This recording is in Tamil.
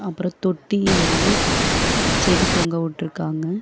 அப்றோ தொட்டி வந்து செடி தொங்கவுட்ருக்காங்க.